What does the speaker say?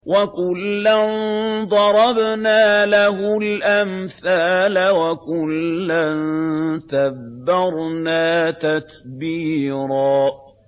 وَكُلًّا ضَرَبْنَا لَهُ الْأَمْثَالَ ۖ وَكُلًّا تَبَّرْنَا تَتْبِيرًا